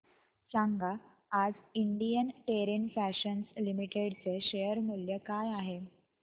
सांगा आज Indian terrain fashions limited चे शेअर मूल्य काय आहे